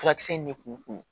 Furakisɛ in ne k'u